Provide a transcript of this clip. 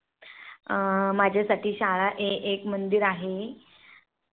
अं माझ्या साठी शाळा एक मन्दिर आहे